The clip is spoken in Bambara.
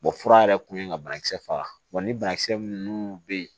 fura yɛrɛ kun ye ka banakisɛ faga ni banakisɛ minnu bɛ yen